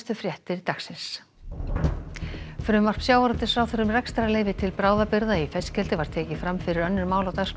fréttir frumvarp sjávarútvegsráðherra um rekstrarleyfi til bráðabirgða í fiskeldi var tekið fram fyrir önnur mál á dagskrá